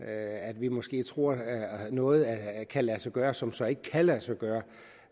at vi måske tror at noget kan lade sig gøre som så ikke kan lade sig gøre